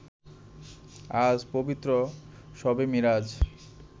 আজ পবিত্র শবে মিরাজ